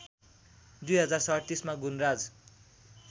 २०३७ मा गुणराज